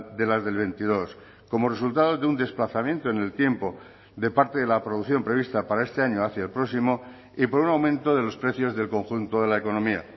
de las del veintidós como resultado de un desplazamiento en el tiempo de parte de la producción prevista para este año hacia el próximo y por un aumento de los precios del conjunto de la economía